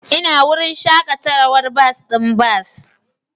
Ina wurin shakatawar bas ɗin bas